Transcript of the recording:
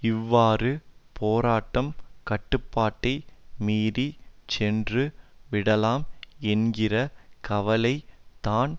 இவ்வாறு போராட்டம் கட்டுப்பாட்டை மீறி சென்று விடலாம் என்கிற கவலை தான்